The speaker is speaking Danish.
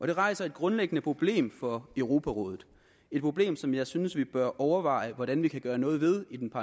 det rejser et grundlæggende problem for europarådet et problem som jeg synes vi bør overveje hvordan vi kan gøre noget ved i den